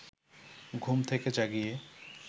ঘুম থেকে জাগিয়ে